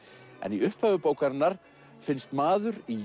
í upphafi bókarinnar finnst maður í